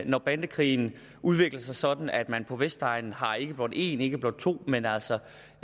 når bandekrigen udvikler sig sådan at man på vestegnen har ikke blot en ikke blot to men altså